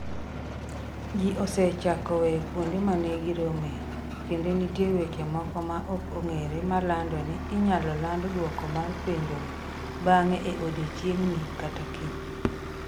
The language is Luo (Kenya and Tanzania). Ji osechako weyo kuonde ma ne giromoe, kendo nitie weche moko maok ong'ere malando ni inyalo land dwoko mar penjono bang'e e odiechieng'ni kata kiny.